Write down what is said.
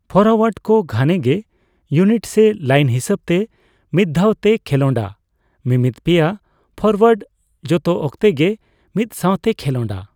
Forward ᱠᱚ ᱜᱷᱟᱱᱮᱜᱮ unit ᱥᱮ ᱞᱟᱭᱤᱱ ᱦᱤᱥᱟᱹᱵᱛᱮ ᱢᱤᱫᱫᱷᱟᱣ ᱛᱮᱭ ᱠᱷᱮᱞᱚᱸᱰᱟ, ᱢᱤᱢᱤᱫ ᱯᱮᱭᱟ ᱯᱷᱚᱨᱳᱣᱟᱨᱰ ᱡᱚᱛᱚ ᱚᱠᱛᱮ ᱜᱮ ᱢᱤᱫᱥᱟᱣᱛᱮ ᱠᱷᱮᱞᱚᱸᱰᱟ ᱾